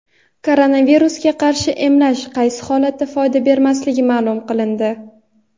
Koronavirusga qarshi emlash qaysi holatda foyda bermasligi ma’lum qilindi.